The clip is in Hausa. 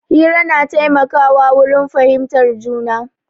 Hira na taimaka wa wurin fahimtar juna.